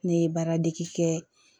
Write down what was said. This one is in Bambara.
Ne ye baara dege kɛ